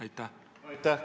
Aitäh!